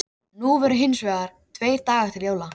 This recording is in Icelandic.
Nú voru hins vegar tveir dagar til jóla.